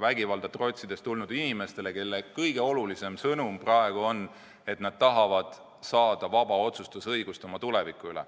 vägivalda trotsides tulnud inimestele, kelle kõige olulisem sõnum praegu on, et nad tahavad saada õigust vabalt otsustada oma tuleviku üle.